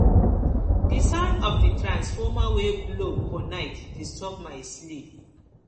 di sound of di transformer wey blow for night disturb my sleep